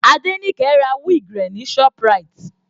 Adenike ra wig rẹ̀ ní ShopRite.